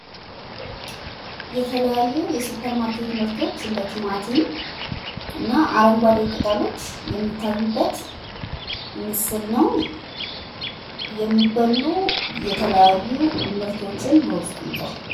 የተለያዩ የሱፐር ማርኬት ምርቶች እንደ ቲማቲም እና አረንጓዴ ቅጠሎች የሚታዩበት ምስል ነው የሚበሉ የተለያዩ ምርቶችን በውስጡ ይዟል።